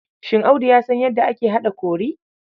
Shin Audu ya san yadda ake haɗa kori?